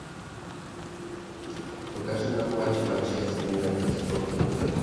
покажи нам матч манчестер юнайтед с тоттенхэмом